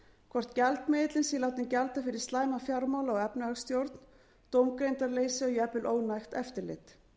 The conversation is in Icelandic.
hvort gjaldmiðillinn sé látinn gjalda fyrir slæma fjármála og efnahagsstjórn dómgreindarleysi og jafnvel ónægt eftirlit